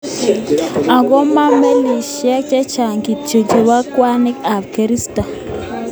Ako ma melisiek cheechen kityo cheibe ngwanik ak koristo kongete Nigeria ak Ghana chekemache.